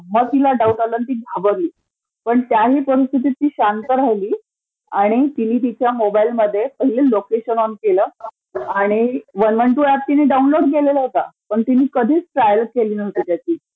मग तिला डाऊट आला आणि ती घाबरली. पण त्याही परीस्थितीत ती शांत राहिली आणि तिने तिच्या मोबाइलमध्ये पहिले लोकेशन ऑन केलं, आणि वन वन टू ऍप तिने डाऊनलोड केल होतं पण तिने कधीचं ट्रायल केली नव्हती त्याची.